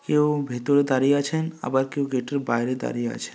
কেউ ভিতরে দাঁড়িয়ে আছে আবার কেউ গেট -এর বাইরে দাঁড়িয়ে আছে।